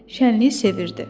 Şənliyi sevirdi.